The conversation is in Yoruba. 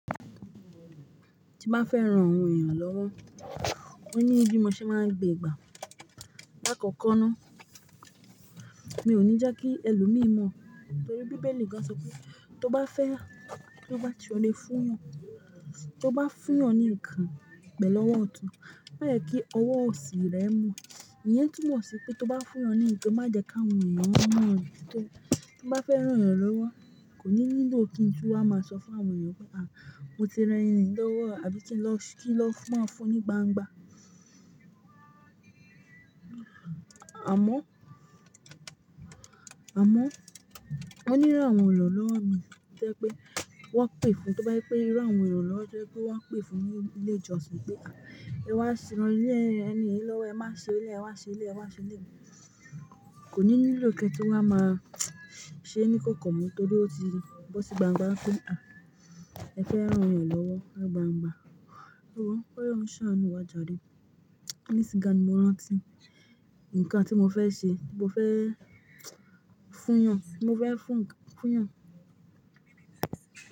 Ti má fẹ́ rán àwọn èèyàn lọ́wọ́, ó ní bí mo ṣe máa ń gbé ìgbà. Láì kọ́kọ́ ná, mi ò ní já kí ẹlòmíì mọ̀ torí bíbélì kan sọ pé tó bá fẹ́, tó bá ti o le fún ìyàn, tó bá fún ìyàn ní ìkàn pẹ̀lú ọwọ́ ọ̀tún, má yẹ kí ọwọ́ òsì rẹ mọ̀. Ìyẹn túmọ̀ sí pé tó bá fún eeyàn ní nǹkan, má jẹ kí àwọn èèyàn mọ̀. Tí n bá fẹ́ rán èèyàn lọ́wọ́, kò ní nílò kí n tú wa máa sọ fún àwọn èèyàn pé, mo ti rán ẹni yìí lọ́wọ́ àbí kí n lọ maa fún ní gbangba. Àmọ́, ó ní àwọn irànlọ́wọ́ omi, to jẹ pé wọ́n pè fún, tó bá je pè irú àwọn irànlọ́wọ́ to jẹ pé wọ́n pè fún ní ilé ìjọsìn pé, ẹ wa rán ẹni yìí lọ́wọ́, ẹ wá ṣe ilé yii. Kò ní nílò kí n tu wá máa ṣe ní kòko mọ́ torí ó ti bọ́ sí gbangba, ipe ẹ fẹ́ rán èèyàn lọ́wọ́ ni gbangba. Ẹ wo, kí Olohun ṣaánù wá járe. Nisin yii gan ni mo rántí ǹkan tí mo fẹ́ ṣe. Mo fẹ́ fún eeyàn.